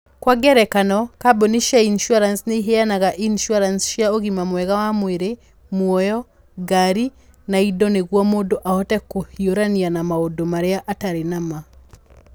Kwa ngerekano, kambuni cia insurance nĩ iheanaga insurance cia ũgima mwega wa mwĩrĩ, muoyo, ngari, na indo nĩguo mũndũ ahote kũhiũrania na maũndũ marĩa atarĩ na ma.